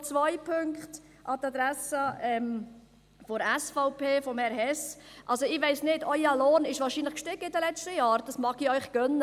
Noch zwei Punkte an die Adresse der SVP und an Grossrat Hess: Ihr Lohn ist wahrscheinlich gestiegen in den letzten Jahren, das gönne ich Ihnen.